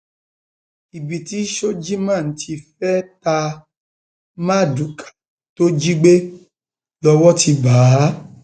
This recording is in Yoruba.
ibi tí shojiman ti fẹẹ ta mardukà tó jí gbé lọwọ ti bá a